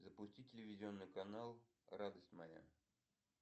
запусти телевизионный канал радость моя